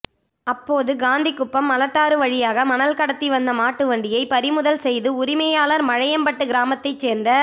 அப்போது காந்திகுப்பம் மலட்டாறு வழியாக மணல் கடத்தி வந்த மாட்டு வண்டியை பறிமுதல் செய்து உரிமையாளர் மழையம்பட்டு கிராமத்தைச் சேர்ந்த